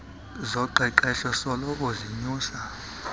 zoqeqeshpo soloko zinyusa